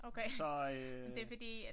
Så øh